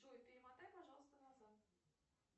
джой перемотай пожалуйста назад